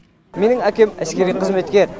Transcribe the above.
менің әкем әскери қызметкер